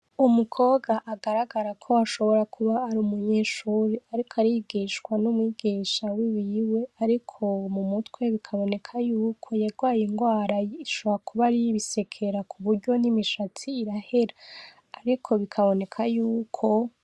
Umukobwa agaragara ko ashobora kuba ar'umunyeshure ariko arigishwa n'umwigisha wiwe ariko mumutwe biboneka yuko yagwaye ingwara ishoboka kuba ariy'ibisekera kuburyo n'imishatsi irahera ariko bikaboneka yuko.